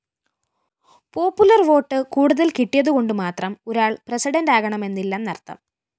popular vote കൂടുതല്‍ കിട്ടിയതുകൊണ്ട് മാത്രം ഒരാള്‍ പ്രസിഡന്റ് ആകണമെന്നില്ലെന്നര്‍ത്ഥം